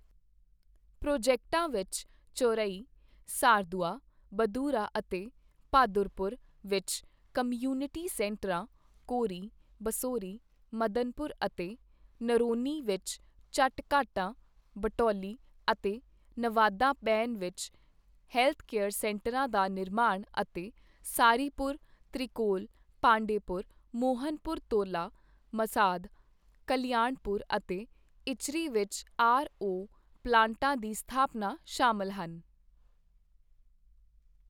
ਪ੍ਰੋਜੈਕਟਾਂ ਵਿੱਚ ਚੌਰਈ, ਸਾਰਦੂਆ, ਬਦੂਰਾ ਅਤੇ ਭਾਦੁਰਪੁਰ ਵਿੱਚ ਕਮਿਊਨਿਟੀ ਸੈਂਟਰਾਂ, ਕੋਰੀ, ਬਸੌਰੀ, ਮਦਨਪੁਰ ਅਤੇ ਨਰੌਨੀ ਵਿੱਚ ਚਟ ਘਾਟਾਂ, ਭਟੌਲੀ ਅਤੇ ਨਵਾਦਾ ਬੇਨ ਵਿੱਚ ਹੈਲਥਕੇਅਰ ਸੈਂਟਰਾਂ ਦਾ ਨਿਰਮਾਣ ਅਤੇ ਸਾਰੀਪੁਰ, ਤ੍ਰਿਕੌਲ, ਪਾਂਡੇਪੁਰ, ਮੋਹਨਪੁਰ ਤੋਲਾ, ਮਸਾਦ, ਕਲਿਆਣਪੁਰ ਅਤੇ ਇਚਰੀ ਵਿੱਚ ਆਰ ਓ ਪਲਾਂਟਾਂ ਦੀ ਸਥਾਪਨਾ ਸ਼ਾਮਲ ਹਨ